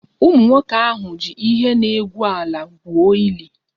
Ụmụnwoke ahụ ji ihe na-egwu ala gwuo ili